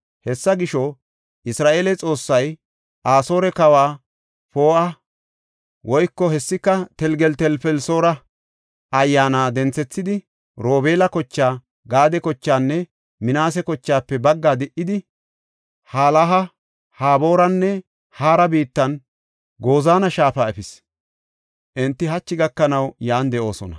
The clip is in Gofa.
Hessa gisho, Isra7eele Xoossay Asoore kawa Pooha (hessika Telgeltelfelisoora) ayyaana denthethidi Robeela kochaa, Gaade kochaanne Minaase kochaafe baggaa di77idi, Halaha, Habooranne Haara biittanne Gozaana Shaafa efis. Enti hachi gakanaw yan de7oosona.